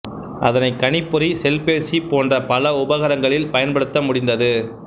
அதனை கணிப்பொறி செல்பேசி போன்ற பல உபகரங்களில் பயன்படுத்த முடிந்தது